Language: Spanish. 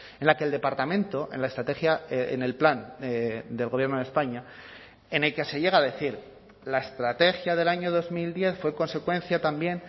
en la que el departamento en la estrategia en el plan del gobierno de españa en el que se llega a decir la estrategia del año dos mil diez fue consecuencia también